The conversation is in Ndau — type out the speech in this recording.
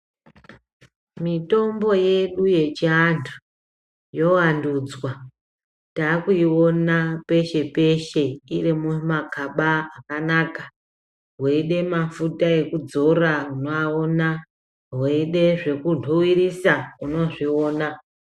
Mitombo yedu yechi andu yo wandudzwa takuiona peshe peshe iri muma gaba akanaka weide mafuta eku dzora uno aona weide zveku dhuwirisa unozviona.